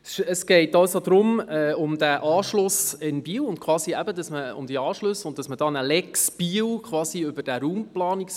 Es geht also um diesen Anschluss in Biel beziehungsweise um diese Anschlüsse und darum, via Raumplanungsbericht quasi eine «Lex Biel» zu schaffen.